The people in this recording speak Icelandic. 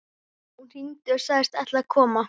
Hún hringdi og sagðist ætla að koma.